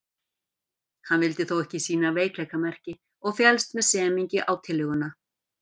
Hann vildi þó ekki sýna veikleikamerki og féllst með semingi á tillöguna.